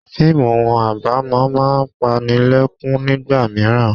Fíìmù abamo máa ń panilekun nígbà mìíràn.